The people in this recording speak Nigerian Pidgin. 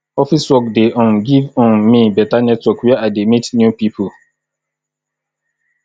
office work dey um give um me beta network where i dey meet new pipo